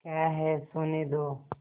क्या है सोने दो